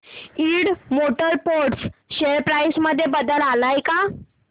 Ind motor parts share price मध्ये बदल आलाय का